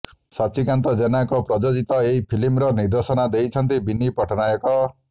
ସଚ୍ଚିକାନ୍ତ ଜେନାଙ୍କ ପ୍ରଯୋଜିତ ଏହି ଫିଲ୍ମର ନିର୍ଦ୍ଦେଶନା ଦେଇଛନ୍ତି ବିନି ପଟ୍ଟନାୟକ